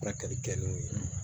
Ta kɛli kɛ n'o ye